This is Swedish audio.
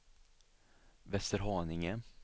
Västerhaninge